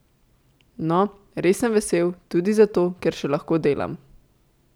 No, res sem vesel, tudi zato, ker še lahko delam.